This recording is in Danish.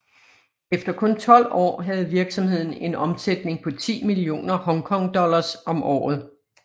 Efter kun tolv år havde virksomheden en omsætning på ti millioner Hong Kong dollars om året